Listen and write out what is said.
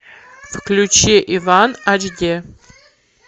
включи иван ашди